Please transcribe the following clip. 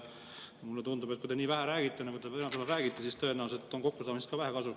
Mulle tundub, et kui te nii vähe räägite, nagu te täna räägite, siis tõenäoliselt on kokkusaamisest ka vähe kasu.